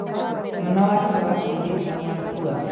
Mwana wake wa kairĩtu nĩakua.